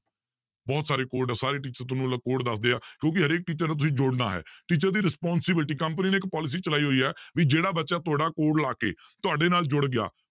ਬਹੁਤ ਸਾਰੇ code ਆ ਸਾਰੇ teacher ਤੁਹਾਨੂੰ ਲ~ code ਦੱਸਦੇ ਆ ਕਿਉਂਕਿ ਹਰੇਕ teacher ਨਾਲ ਤੁਸੀਂ ਜੁੜਨਾ ਹੈ teacher ਦੀ responsibility, company ਨੇ ਇੱਕ policy ਚਲਾਈ ਹੋਈ ਹੈ ਵੀ ਜਿਹੜਾ ਬੱਚਾ ਤੁਹਾਡਾ code ਲਾ ਕੇ ਤੁਹਾਡੇ ਨਾਲ ਜੁੜ ਗਿਆ